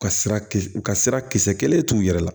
Ka sira kisi u ka sira kisɛ kelen t'u yɛrɛ la